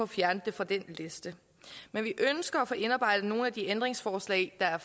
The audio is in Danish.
fjernet fra den liste men vi ønsker at få indarbejdet nogle af de ændringsforslag der er